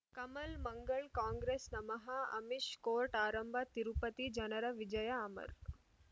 ಕಮಲ್ ಮಂಗಳ್ ಕಾಂಗ್ರೆಸ್ ನಮಃ ಅಮಿಷ್ ಕೋರ್ಟ್ ಆರಂಭ ತಿರುಪತಿ ಜನರ ವಿಜಯ ಅಮರ್